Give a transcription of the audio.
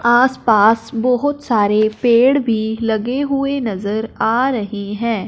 आसपास बहुत सारे पेड़ भी लगे हुए नजर आ रही हैं।